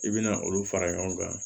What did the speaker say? I bɛna olu fara ɲɔgɔn kan